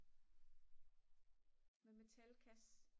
med metalkasse